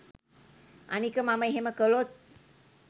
අනික මම එහෙම කළොත්